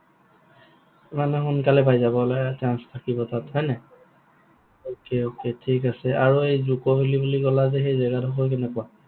মানে সোনকালে পাই যাবলৈ chance থাকিব তাত হয় নাই? okay, okay ঠিক আছে, আৰু এই জুক ভেলি বুলি কলা যে সেই জেগা ডোখৰ কেনেকুৱা?